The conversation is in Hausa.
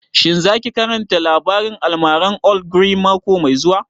Shin za ki karanta labarin almaran old ogre mako mai zuwa?